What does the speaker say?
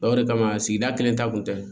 o de kama sigida kelen ta kun tɛ